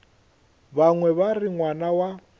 bangwe ba re ngwana wa